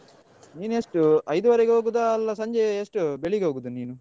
ನೀನೆಷ್ಟು ಎಷ್ಟು ಐದುವರೆಗೆ ಹೋಗುದಾ ಅಲ್ಲ ಸಂಜೆ ಎಷ್ಟು ಬೆಳಿಗ್ಗೆ ಹೋಗುದಾ ನೀನು?